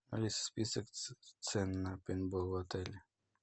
алиса список цен на пейнтбол в отеле